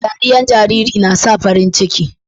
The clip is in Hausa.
dariyan jariri na sa farin ciki